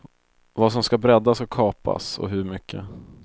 Vad som skall breddas och kapas, och hur mycket.